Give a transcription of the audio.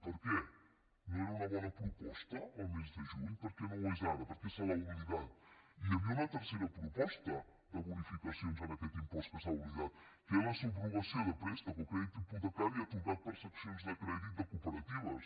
per què no era una bona proposta el mes de juny per què no ho és ara per què se l’ha oblidat hi havia una tercera proposta de bonificacions en aquest impost que s’ha oblidat que era la subrogació de préstec o crèdit hipotecari atorgat per seccions de crèdit de cooperatives